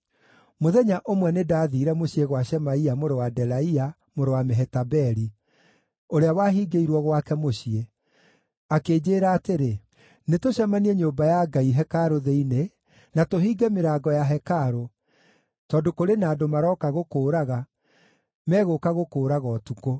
Mũthenya ũmwe nĩndathiire mũciĩ gwa Shemaia mũrũ wa Delaia, mũrũ wa Mehetabeli, ũrĩa wahingĩirwo gwake mũciĩ. Akĩnjĩĩra atĩrĩ, “Nĩtũcemanie nyũmba ya Ngai, hekarũ thĩinĩ, na tũhinge mĩrango ya hekarũ, tondũ kũrĩ na andũ maroka gũkũũraga, megũka gũkũũraga ũtukũ.”